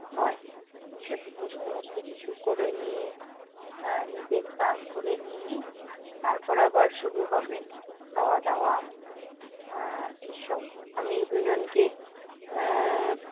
হয়। তো সেগুলো সমস্ত কিছু করে নিয়ে আহ নিজের স্নান করে নিয়ে, তারপর আবার শুরু হবে খাওয়া-দাওয়া আহ এইসব। আমি দুই জনকে আহ